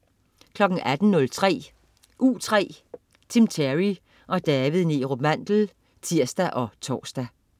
18.03 U3. Tim Terry og David Neerup Mandel (tirs og tors)